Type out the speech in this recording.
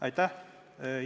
Aitäh!